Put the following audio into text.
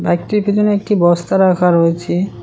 বাইকটির পিছনে একটি বস্তা রাখা রয়েছে।